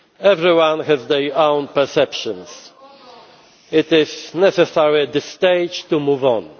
Everyone has their own perceptions. It is necessary at this stage to move